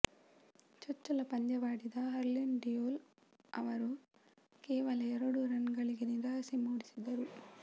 ಚೊಚ್ಚಲ ಪಂದ್ಯವಾಡಿದ ಹರ್ಲೀನ್ ಡಿಯೋಲ್ ಅವರು ಕೇವಲ ಎರಡು ರನ್ ಗಳಿಸಿ ನಿರಾಸೆ ಮೂಡಿಸಿದರು